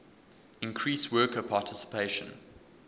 increase worker participation